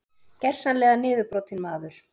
Gersamlega niðurbrotinn maður.